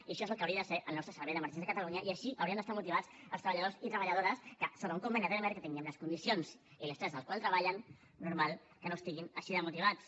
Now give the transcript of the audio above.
i això és el que hauria de ser el nostre servei d’emergències de catalunya i així haurien d’estar motivats els treballadors i treballadores que sota un conveni de telemàrqueting i en les condicions i l’estrès en els quals treballen normal que no estiguin així de motivats